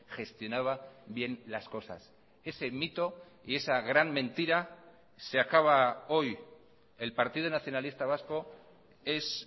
gestionaba bien las cosas ese mito y esa gran mentira se acaba hoy el partido nacionalista vasco es